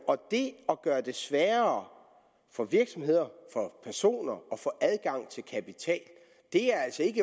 det at gøre det sværere for virksomheder og personer at få adgang til kapital er altså ikke